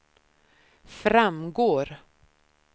framgår